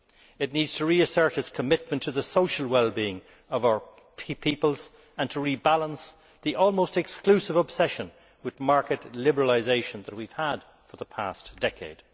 It needs to reassert its commitment to the social well being of our peoples and to rebalance the almost exclusive obsession with market liberalisation that we have had for the past decade.